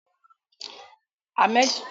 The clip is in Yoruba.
Hammed ti ṣiṣẹ́ wéétà rí.